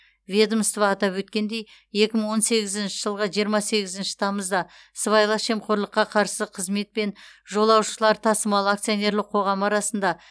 ведомство атап өткендей екі мың он сегізінші жылғы жиырма сегізінші тамызда сыбайлас жемқорлыққа қарсы қызмет пен жолаушылар тасымалы акционерлік қоғамы арасында